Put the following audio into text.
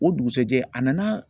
O dugusɛjɛ a nana